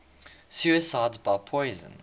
suicides by poison